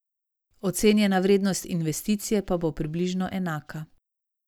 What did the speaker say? Ocenjena vrednost investicije pa bo približno enaka.